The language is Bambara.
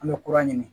An bɛ kurun ɲini